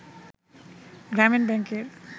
গ্রামীণ ব্যাংকের